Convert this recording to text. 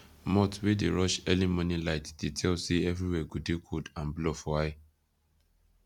moth wey dey rush early morning light dey tell say everywhere go dey cold and blur for eye